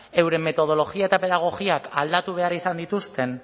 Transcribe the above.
euren metodologia eta pedagogiak aldatu behar izan dituzten